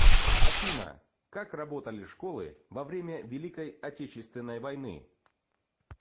афина как работали школы во время великой отечественной войны